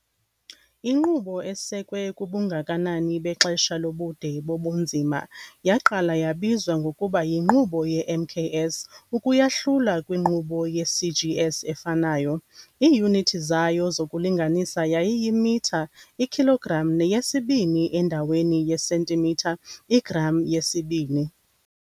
Inkqubo, esekwe kubungakanani bexesha lobude bobunzima, yaqala yabizwa ngokuba yiNkqubo yeMKS ukuyahlula kwiNkqubo yeCGS efanayo, iiyunithi zayo zokulinganisa yayiyimitha, ikhilogram neyesibini endaweni yesentimitha, igram, yesibini.